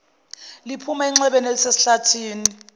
liphuma enxebeni elisesihlathini